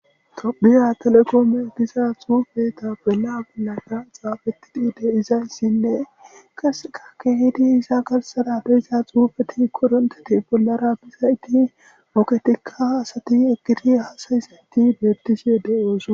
tophiya telekoome giza xuufeta bela gollaka xaafetidi de izayssinne kasekakke hidi isa galsada beyiza xuufeti koronteti bollara bizayiti moketikka asati egiri hasay senti bebtishie de osa